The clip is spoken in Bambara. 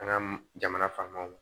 An ka jamana faamaw